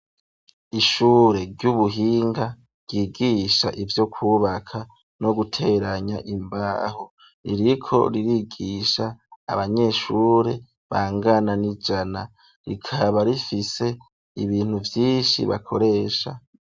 Ishure ry'ubuhinga ryigisha ivyo kubaka no guteranya imbaho, ririko ririgisha abanyeshure bangana n'ijana, rikaba rifise ibintu vyinshi bakoresha.